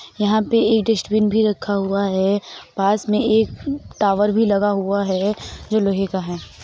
यहां पे एक डस्टबिन भी रखा हुआ है पास में एक टावर भी लगा हुआ है जो लोहे का है।